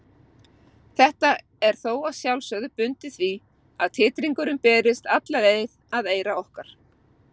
Þetta er þó að sjálfsögðu bundið því að titringurinn berist alla leið að eyra okkar.